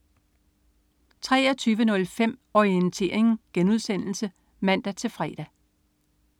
23.05 Orientering* (man-fre)